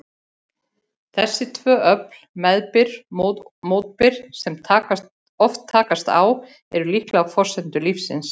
Þessi tvö öfl, meðbyr-mótbyr, sem svo oft takast á, eru líklega forsendur lífsins.